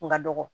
Kun ka dɔgɔ